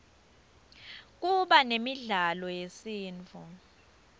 kuba nemidlalo yesintfu